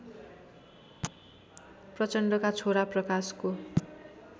प्रचण्डका छोरा प्रकाशको